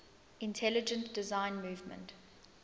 intelligent design movement